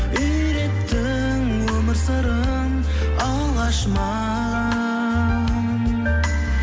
үйреттің өмір сырын алғаш маған